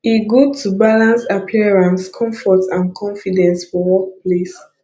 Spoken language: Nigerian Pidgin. e good to balance appearance comfort and confidence for workplace